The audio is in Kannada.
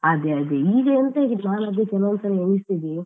ಅದೇ ಅದೇ ಈಗ ಎಂತ ಆಗಿದೆ ನಾನು ಅದೇ ಕೆಲವು ಸಲ ಎಣಿಸುದು.